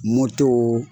Moto